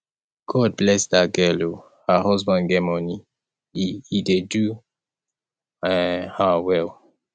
god bless dat girl oo her husband get money he he dey do um her well